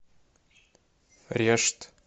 решт